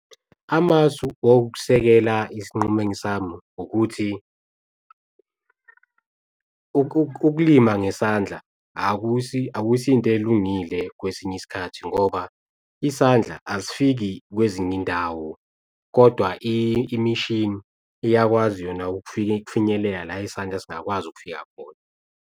Amasu wokusekela isinqumo sami ukuthi ukulima ngesandla akusiyo into elungile kwesinye isikhathi ngoba isandla asifiki kwezinye iy'ndawo kodwa imishini iyakwazi yona ukufika, ukufinyelela la isandla singakwazi ukufika khona.